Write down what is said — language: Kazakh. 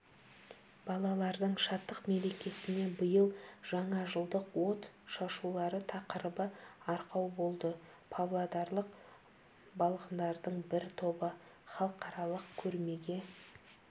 балалардың шаттық мерекесіне биыл жаңажылдық от шашулары тақырыбы арқау болды павлодарлық балғындардың бір тобы халықаралық көрмеге